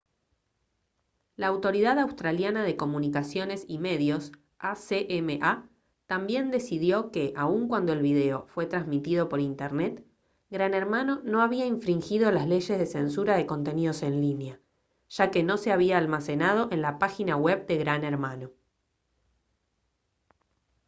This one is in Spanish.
la autoridad australiana de comunicaciones y medios acma también decidió que aun cuando el video fue transmitido por internet gran hermano no había infringido las leyes de censura de contenidos en línea ya que no se había almacenado en la página web de gran hermano